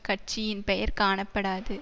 கட்சியின் பெயர் காணப்படாது